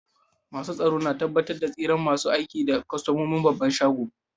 Masun tsaro na tabatar da tsiran masun aiki da kostomomin babban shagunan.